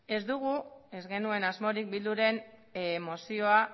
ez genuen asmorik bilduren mozioa